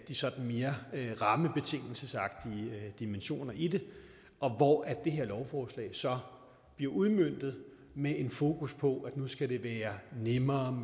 de sådan mere rammebetingelsesagtige dimensioner i det og hvor det her lovforslag så bliver udmøntet med fokus på at det nu skal være nemmere